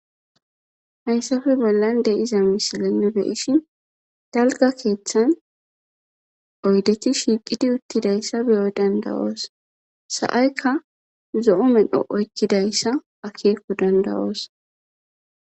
hayssappe bollan de'iza misilenne nu be'ishin dalga keeththan oydetti shiiqidi uttidayssa be'o danda'os sa'aykka zo'o medho oykkidayssa akeeko dandawoos